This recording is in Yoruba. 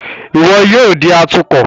Iwọ yoo di atukọ!